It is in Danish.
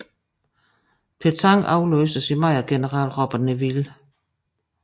Petain afløstes i maj af general Robert Nivelle